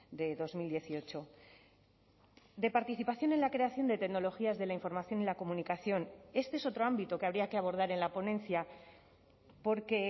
de dos mil dieciocho de participación en la creación de tecnologías de la información y la comunicación este es otro ámbito que habría que abordar en la ponencia porque